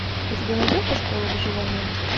у тебя найдется школа выживания